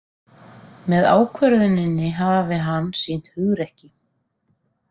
Með ákvörðuninni hafi hann sýnt hugrekki